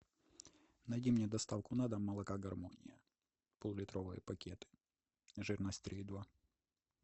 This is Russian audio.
найди мне доставку на дом молока гармония пол литровый пакет жирность три и два